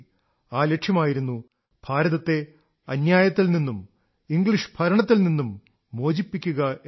ആ ലക്ഷ്യമായിരുന്നു ഭാരതത്തെ അന്യായത്തിൽ നിന്നും ഇംഗ്ളീഷ് ഭരണത്തിൽ നിന്നും മോചിപ്പിക്കുക എന്നത്